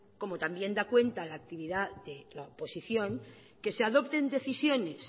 como también da cuenta la actividad de la oposición que se adopten decisiones